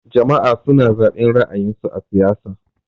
Jama'a suna zaben ra'ayin su a siyasa.